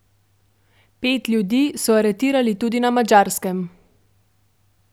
Pet ljudi so aretirali tudi na Madžarskem.